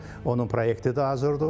Onun proyektidi hazırdır.